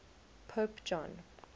pope john